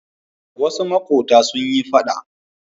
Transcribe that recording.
Wasu maƙota sun yi faɗa.